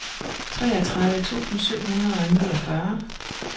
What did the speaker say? treogtredive tusind syv hundrede og niogfyrre